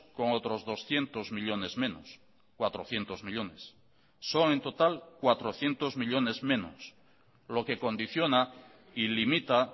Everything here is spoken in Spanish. con otros doscientos millónes menos cuatrocientos millónes son en total cuatrocientos millónes menos lo que condiciona y limita